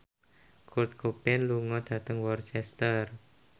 Kurt Cobain lunga dhateng Worcester